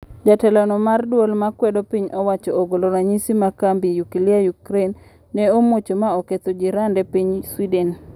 Jatelo no mar duol ma kwedo piny owacho ogolo ranyisi ma kambi nyukilia Yukrain ne omuoch maoketho jirande piny Sweden.